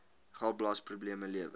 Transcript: galblaas probleme lewer